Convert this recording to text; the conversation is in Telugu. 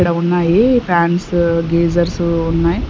ఇక్కడ ఉన్నాయి ఫ్యాన్స్ గేజర్స్ ఉన్నాయి.